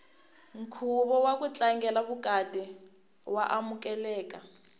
nkhuvo waku tlangela vukati wa amukeleka